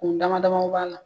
U damadamaw b'a la.